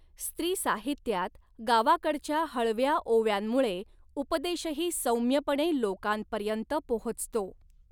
स्त्रीसाहित्यात गावाकडच्या हळव्या ओव्यांमुळे उपदेशही सौम्यपणे लोकांपर्यंत पोहचतो.